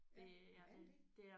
Ja nåh er den det